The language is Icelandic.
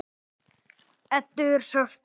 Eddu er sárt saknað.